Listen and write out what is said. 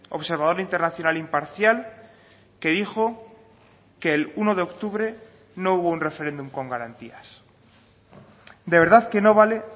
observador internacional imparcial que dijo que el uno de octubre no hubo un referéndum con garantías de verdad que no vale